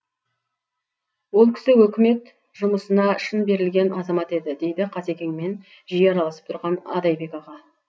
ол кісі өкімет жұмысына шын берілген азамат еді дейді қасекеңмен жиі араласып тұрған адайбек аға